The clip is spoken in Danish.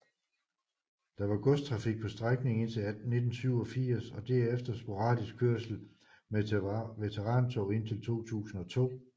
Der var godstrafik på strækningen indtil 1987 og derefter sporadisk kørsel med veterantog indtil 2002